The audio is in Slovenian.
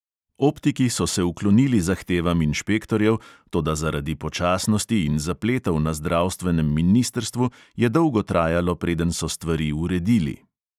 Optiki so se uklonili zahtevam inšpektorjev, toda zaradi počasnosti in zapletov na zdravstvenem ministrstvu je dolgo trajalo, preden so stvari uredili.